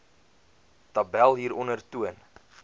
tabel hieronder toon